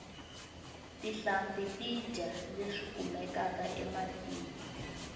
tinhlampfi ti dya leswi kumekaka ematini